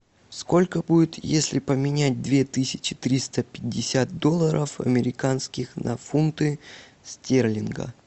сколько будет если поменять две тысячи триста пятьдесят долларов американских на фунты стерлинга